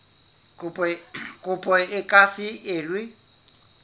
kopo e ka se elwe